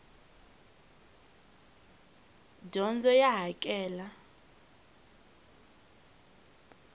dyondzo ya hakela